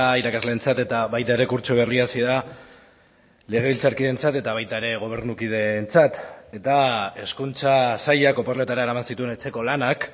irakasleentzat eta baita ere kurtso berria hasi da legebiltzarkideentzat eta baita ere gobernukideentzat eta hezkuntza sailak oporretara eraman zituen etxeko lanak